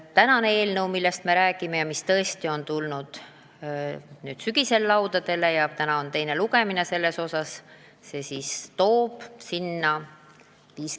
Tänane eelnõu, mis sügisel meie laudadele tuli ja mille teine lugemine praegu toimub, toob mängu skeemi 50 : 50.